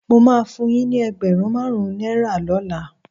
Mo máa fun yín ní ẹgbẹ̀rún márùn-ún náírà lọ́la.